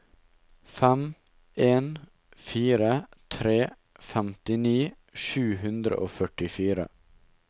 fem en fire tre femtini sju hundre og førtifire